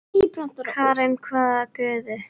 Karen: hvaða guði?